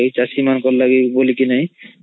ଚାଷୀ ମାନଂକ ଲାଗି ବୋଲି ନାଈ